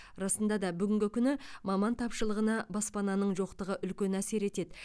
расында да бүгінгі күні маман тапшылығына баспананың жоқтығы үлкен әсер етеді